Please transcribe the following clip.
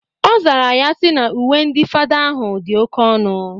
Ọ zara ya sị na uwe ndị fada ahụ dị oke ọnụ.